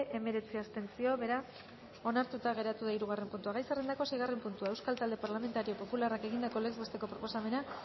hemeretzi abstentzio beraz onartuta geratu da hirugarren puntua gai zerrendako seigarren puntua euskal talde parlamentario popularrak egindako legez besteko proposamena